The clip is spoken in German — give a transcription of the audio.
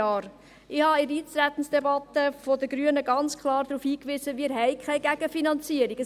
Ich habe in der Eintretensdebatte seitens der Grünen ganz klar darauf hingewiesen, dass wir keine Gegenfinanzierung haben.